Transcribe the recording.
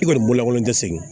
I kɔni bololakolen tɛ segin